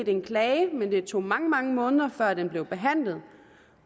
en klage men det tog mange mange måneder før den blev behandlet